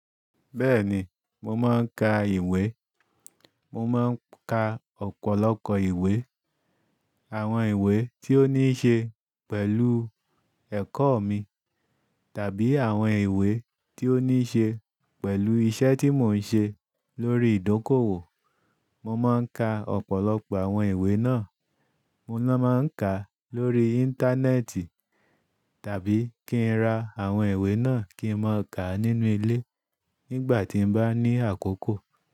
Bẹ́ẹ̀ni, mo máa ń ka ìwé. Mo máa ń ka ọ̀pọ̀lọpọ̀ ìwé. Àwọn ìwé tí ó ní ṣe pẹ̀lú ẹ̀kọ́ mi tàbí àwọn ìwé tí ó ní ṣe pẹ̀lú iṣẹ́ tí mò ń ṣe lórí ìdókòwò. Mo máa ń ka ọ̀pọ̀lọpọ̀ àwọn ìwé náà. Mo máa ń ka lórí Íńtánẹ́ẹ̀tì tàbí kí ń ra àwọn ìwé náà kí ń máa ka nínú ilé nígbà tí bá ní àkókò.